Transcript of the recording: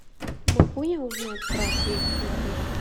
могу я узнать про сейф в отеле